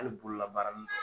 Hali bolola baara nin dɔ.